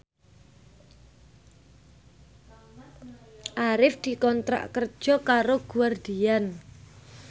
Arif dikontrak kerja karo Guardian